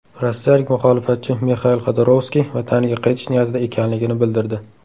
Rossiyalik muxolifatchi Mixail Xodorkovskiy vataniga qaytish niyatida ekanligini bildirdi.